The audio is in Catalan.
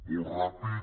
molt ràpid